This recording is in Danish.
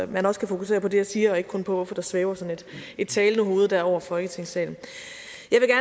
man også kan fokusere på det jeg siger og ikke kun på hvorfor der svæver sådan et talende hovede der over folketingssalen